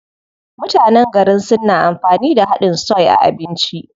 Mutanen garin Sin na amfani da haɗin soy a abinci.